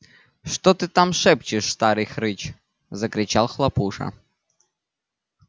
что ты там шепчешь старый хрыч закричал хлопуша